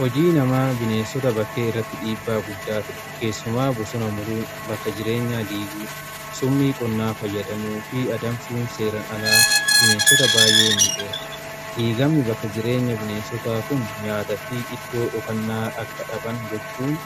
Hojii namaa bineensota bakkee irratti dhiibbaa guddaa fida. Keessumaa bosona muruu bakka jireenyaa, dummii qonnaa fayyadamuu fi adamsuun seeran alaa bineensota baay'ee miidha. Diigamni bakka jireenya bineensota kun nyaata fi iddoo dhokannaa akka dhaban gochuun